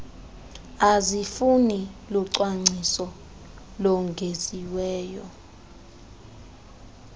azifuni lucwangciso longeziweyo